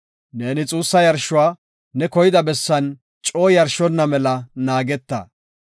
Neeni xuussa yarshuwa ne koyida bessan coo yarshonna mela naageta.